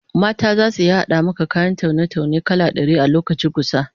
Mata zasu iya hada maka kayan taune-taune kala dari a lokaci gusa